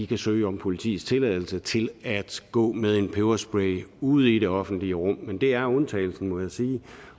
kan søge om politiets tilladelse til at gå med en peberspray ude i det offentlige rum men det er undtagelsen må jeg sige